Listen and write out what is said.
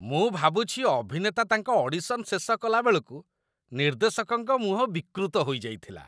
ମୁଁ ଭାବୁଛି ଅଭିନେତା ତାଙ୍କ ଅଡିସନ୍ ଶେଷ କଲାବେଳକୁ ନିର୍ଦ୍ଦେଶକଙ୍କ ମୁହଁ ବିକୃତ ହୋଇଯାଇଥିଲା।